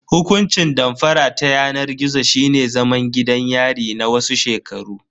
Hukuncin damfara ta yanar gizo shine zaman gidan yari na wasu shekaru.